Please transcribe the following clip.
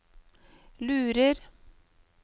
lurer